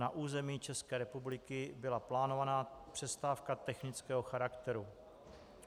Na území České republiky byla plánovaná přestávka technického charakteru.